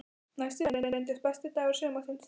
Næsti dagur reynist besti dagur sumarsins.